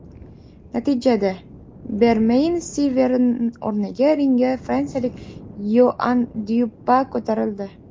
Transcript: Natijada, Bermeyn Stivern o‘rniga ringga fransiyalik Yoann Dyuopa ko‘tarildi.